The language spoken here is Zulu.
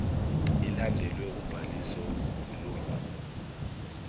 ilandelwe ubhaliso okukhulunywa